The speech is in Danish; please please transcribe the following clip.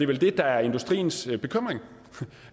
vel det der er industriens bekymring